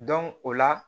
o la